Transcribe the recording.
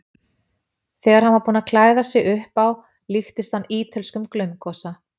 Þegar hann var búinn að klæða sig upp á líktist hann ítölskum glaumgosa.